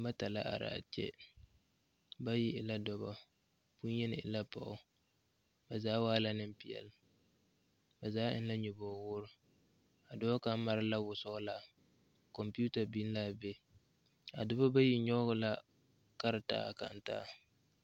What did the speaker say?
Noba bata la are a kyɛ bayi e dɔbɔ bonyeni e la pɔɔ ba zaa waa la nempeɛle ba zaa eŋ la nyɔboge woore a dɔɔ kaŋa mare la wɔsɔglaa kɔmpiita biŋ la a be a dɔbɔ bayi nyɔge la karetaa kaŋ taa.